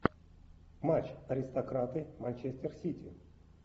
матч аристократы манчестер сити